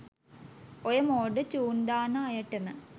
ඔය මෝඩ චූන් දාන අයටම